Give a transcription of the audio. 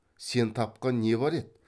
сен тапқан не бар еді